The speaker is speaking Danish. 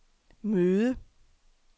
møde